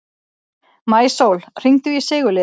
Maísól, hringdu í Sigurliða.